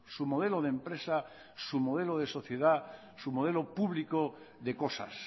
su modelo de empresa su modelo se sociedad su modelo público de cosas